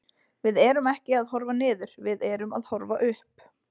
Við erum ekki að horfa niður, við erum að horfa upp.